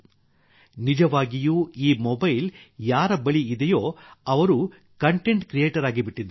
ನಿಜವಾಗಿಯೂ ಈಗ ಮೊಬೈಲ್ ಯಾರ ಬಳಿ ಇದೆಯೋ ಅವರು ಕಾಂಟೆಂಟ್ ಕ್ರಿಯೇಟರ್ ಆಗಿಬಿಟ್ಟಿದ್ದಾರೆ